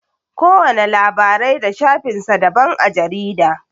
Kowana labarai da shafin sa daban a jarida.